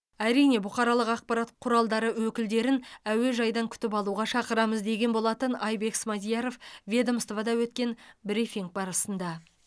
әрине бұқаралық ақпарат құралдары өкілдерін әуежайдан күтіп алуға шақырамыз деген болатын айбек смадияров ведомствода өткен брифинг барысында